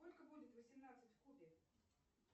сколько будет восемнадцать в кубе